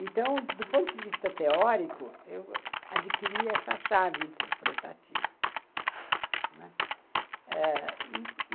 Então, do ponto de vista teórico, eu adquiri essa chave interpretativa, né.